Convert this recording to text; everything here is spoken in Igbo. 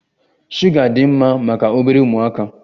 Shuga dị mma maka obere ụmụaka.